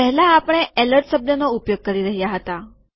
પહેલા આપણે એલર્ટ શબ્દનો ઉપયોગ કરી રહ્યા હતા